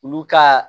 Olu ka